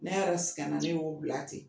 Ne yɛrɛ sɛgɛn na ne y'o bila ten.